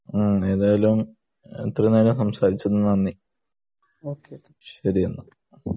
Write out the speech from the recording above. ഉം ഏതായാലും ഇത്ര നേരം സംസാരിച്ചതിന് നന്ദി ഓക്കേ എന്നാൽ